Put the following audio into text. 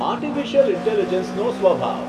artificial ઇન્ટેલિજન્સનો સ્વભાવ